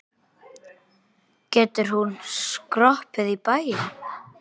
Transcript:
Getur hún skroppið í bæinn?